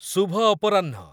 ଶୁଭ ଅପରାହ୍ନ